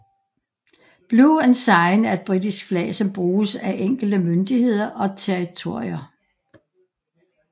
Blue Ensign er et britisk flag som bruges af enkelte myndigheder og territorier